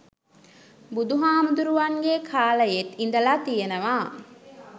බුදුහාමුදුරුවන්ගේ කාලයෙත් ඉඳලා තියෙනවා.